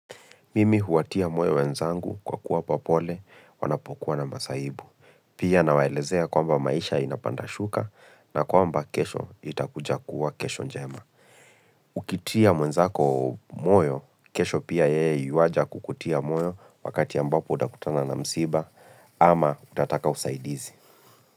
Mimi huwatia moyo wenzangu kwa kuwa pole, wanapokuwa na masahibu. Pia nawaelezea kwamba maisha inapanda shuka na kwamba kesho itakuja kuwa kesho njema. Ukitia mwenzako moyo, kesho pia yeye yuwaja kukutia moyo wakati ambapo utakutana na msiba ama utataka usaidizi.